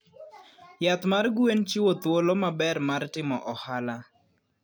Yath mar gwen chiwo thuolo maber mar timo ohala.